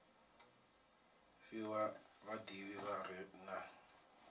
fhiwa vhadivhi vha re na